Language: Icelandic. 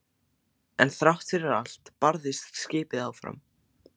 En þrátt fyrir allt barðist skipið áfram.